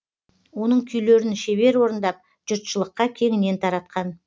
оның күйлерін шебер орындап жұртшылыққа кеңінен таратқан